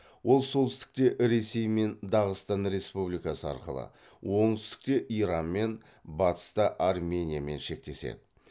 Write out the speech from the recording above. ол солтүстікте ресеймен дағыстан республикасы арқылы оңтүстікте иранмен батыста армениямен шектеседі